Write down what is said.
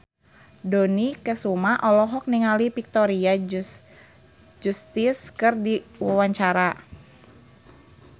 Dony Kesuma olohok ningali Victoria Justice keur diwawancara